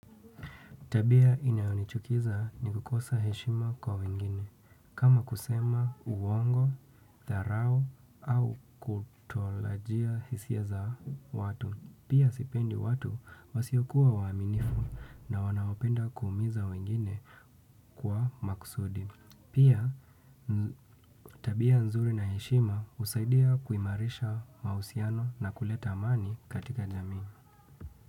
Tabia inayonichukiza ni kukosa heshima kwa wengine, kama kusema uongo, dharau, au kutolajia hisia za watu. Pia sipendi watu wasiokuwa waaminifu na wanaopenda kuumiza wengine kwa makusudi. Pia tabia nzuri na heshima husaidia kuimarisha mahusiano na kuleta amani katika jamii.